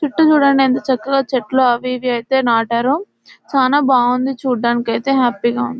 చుట్టూ చూడండి ఎంత చక్కగా చెట్లు అవి ఇవి నాటారు చానా బాగుంది చూడ్డానికి అయితే హ్యాపీగా ఉంది --